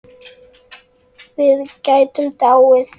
Við gætum dáið.